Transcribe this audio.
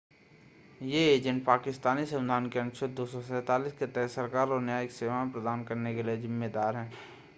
ये एजेंट पाकिस्तानी संविधान के अनुच्छेद 247 के तहत सरकार और न्यायिक सेवाएं प्रदान करने के लिए ज़िम्मेदार हैं